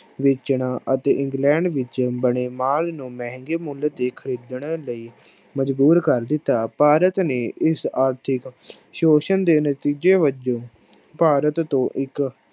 ਵੇਚਣ ਅਤੇ ਇੰਗਲੈਂਡ ਵਿੱਚ ਬਣੇ ਮਾਲ ਨੂੰ ਮਹਿੰਗੇ ਮੁੱਲ ਤੇ ਖ਼ਰੀਦਣ ਲਈ ਮਜ਼ਬੂਰ ਕਰ ਦਿੱਤਾ, ਭਾਰਤ ਨੇ ਇਸ ਆਰਥਿਕ ਸ਼ੋਸ਼ਣ ਦੇ ਨਤੀਜੇ ਵਜੋਂ ਭਾਰਤ ਤੋਂ ਇੱਕ